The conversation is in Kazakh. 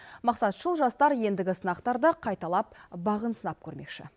мақсатшыл жастар ендігі сынақтарда қайталап бағын сынап көрмекші